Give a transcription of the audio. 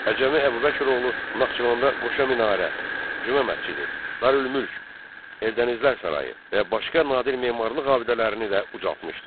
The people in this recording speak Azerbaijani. Əcəmi Əbubəkiroğlu Naxçıvanda qoşa minarə, Cümə məscidi, Darülmülk, Eldənizlər sarayı və başqa nadir memarlıq abidələrini də ucaltmışdı.